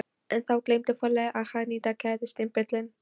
En þá gleymdi forlagið að hagnýta gæðastimpilinn!